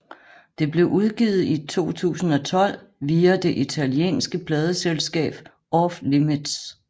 Det blev udgivet i 2012 via det italienske pladeselskab Off Limits